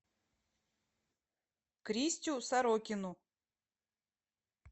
кристю сорокину